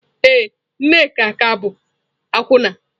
Ee, Nneka ka bụ akwụna.